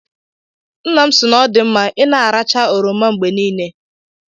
Nna m sị na ọ dị mma I na-arachaa oroma mgbe niile.